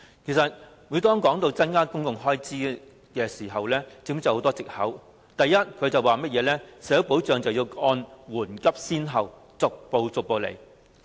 其實，每當提到增加公共開支時，政府便諸多藉口，第一是社會保障要按緩急先後，逐步處理。